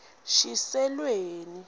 shiselweni